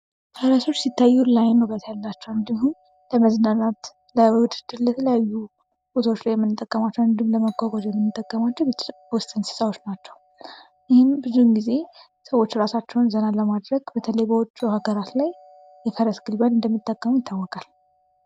ፈረሶች ሲታዩ ለአይን ዉበት ያላቸው እንዲሁም ለመዝናናት ለዉድድር ለተለያዩ ቦታዎች ላይ የምንጠቀማቸው እንዲሁም ለመጓጓዣነት የምንጠቀማቸው የቤት ዉስጥ እንሥሳቶች ናቸው። ይህም ብዙ ጊዜ ሰዎች ራሳቸውን ዘና ለማድረግ በተለይ በዉጭ ሃገራት ላይ የፈረስ ግልቢያን እንደሚጠቀሙ ይታወቃል።